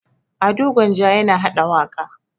Ado Gwanja yana haɗa waƙa.